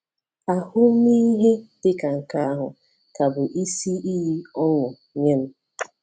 Ahụmịhe dị ka nke ahụ ka bụ isi iyi ọṅụ nye m.